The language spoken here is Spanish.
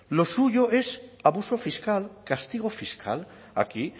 lo suyo es abuso fiscal castigo fiscal aquí